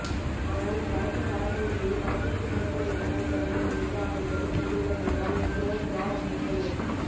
ஆனால் இப்படத்தின் பட பூஜையை படப்பிடிப்பு நடைபெறும் இடத்தில் தொடங்க நினைத்து அதன்படி செய்துள்ளோம் என்றார் இயக்குநர் ஜார்ஜ்நெப்போலியன்